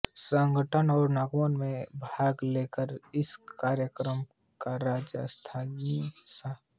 संगठनों और नगमों में भाग लेकर इस कार्यक्रम को राज्य और स्थानीय स